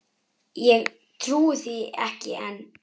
Ég trúi því ekki enn.